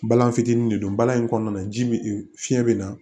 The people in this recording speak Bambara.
Balan fitinin de don baara in kɔnɔna na ji bi fiɲɛ bɛ na